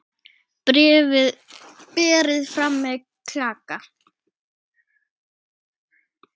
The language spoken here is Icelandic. Berið fram með klaka.